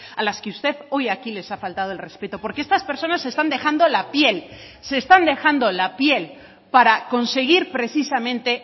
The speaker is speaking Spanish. a las que usted hoy aquí les ha faltado el respeto porque estas personas están dejando la piel se están dejando la piel para conseguir precisamente